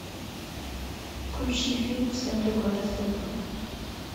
включи фильм с эндрю гарфилдом